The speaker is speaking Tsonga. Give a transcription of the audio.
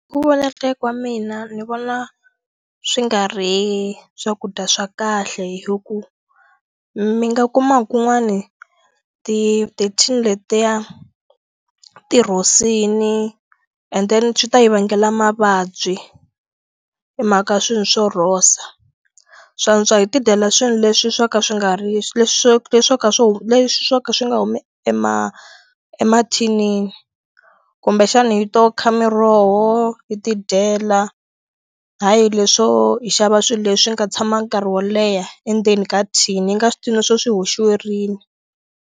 Hi ku vona ka wa mina ni vona swi nga ri swakudya swa kahle hi ku mi nga kuma ku n'wani ti tithini letiya tirhosini endeni swi ta hi vangela mavabyi hi mhaka swilo swo rhosa swantswa hi ti dyela swilo leswi swa ka swi nga ri leswo leswi ka swilo leswi swo ka swi nga humi emathinini kumbexana hi to kha miroho hi tidyela hayi leswo hi xava swilo leswi ni nga tshama nkarhi wo leha endzeni ka thini hi nga swi tivi no swi hoxiwa rini.